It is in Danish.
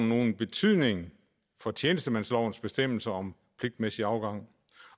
nogen betydning for tjenestemandslovens bestemmelser om pligtmæssig afgang